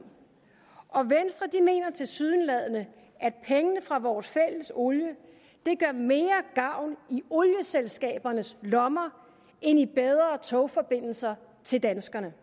om og tilsyneladende at pengene fra vores fælles olie gør mere gavn i olieselskabernes lommer end i bedre togforbindelser til danskerne